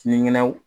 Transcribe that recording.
Sinikɛnɛ